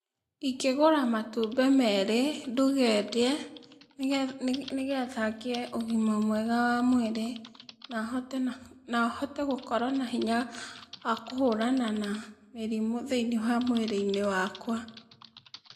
Ingĩgũra matumbĩ merĩ, nduge ndĩe, nĩge nĩgetha ngĩe ũgima mwega wa mwĩrĩ, na hote na nahote gũkorwo na hinya wa kũhũrana na mĩrimũ thĩ-inĩ wa mwĩrĩ-inĩ wakwa.